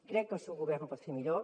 crec que el seu govern ho pot fer millor